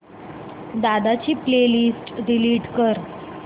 दादा ची playlist delete कर